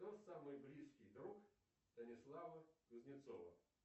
кто самый близкий друг станислава кузнецова